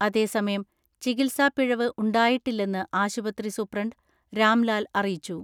അതേസമയം ചികിത്സാ പിഴവ് ഉണ്ടായിട്ടില്ലെന്ന് ആശുപത്രി സൂപ്രണ്ട് രാംലാൽ അറിയിച്ചു.